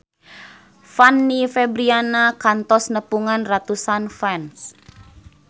Fanny Fabriana kantos nepungan ratusan fans